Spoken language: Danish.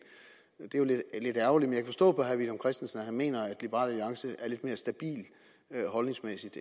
det er lidt ærgerligt men jeg kan forstå på herre villum christensen at han mener at liberal alliance holdningsmæssigt